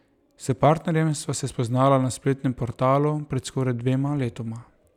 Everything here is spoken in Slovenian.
S partnerjem sva se spoznala na spletnem portalu pred skoraj dvema letoma.